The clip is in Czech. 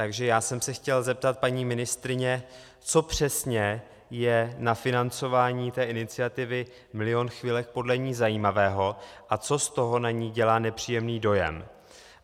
Takže já jsem se chtěl zeptat paní ministryně, co přesně je na financování té iniciativy Milion chvilek podle ní zajímavého a co z toho na ni dělá nepříjemný dojem.